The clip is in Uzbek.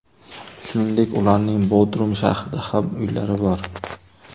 Shuningdek ularning Bodrum shahrida ham uylari bor.